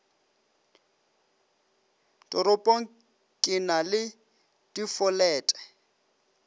toropong ke na le difolete